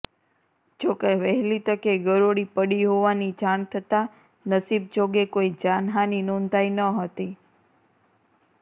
જોકે વહેલીતકે ગરોળી પડી હોવાની જાણ થતાં નશીબજોગે કોઈ જાનહાની નોંધાઈ ન હતી